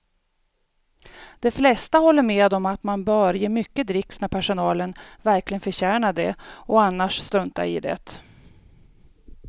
De flesta håller med om att man bör ge mycket dricks när personalen verkligen förtjänar det och annars strunta i det.